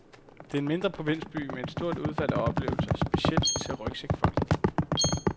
Det er en mindre provinsby med et stort udbud af oplevelser, specielt til rygsækfolket.